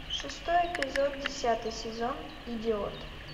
шестой эпизод десятый сезон идиот